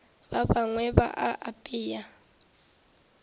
ba bangwe ba a apea